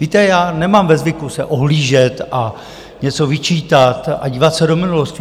Víte, já nemám ve zvyku se ohlížet a něco vyčítat a dívat se do minulosti.